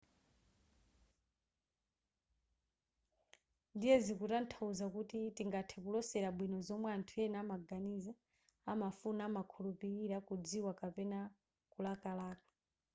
ndiye zikutanthauza kuti tingathe kulosera bwino zomwe anthu ena amaganiza amafuna amakhulupilira kudziwa kapena kulakalaka